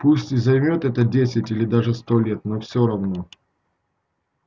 пусть и займёт это десять или даже сто лет но все равно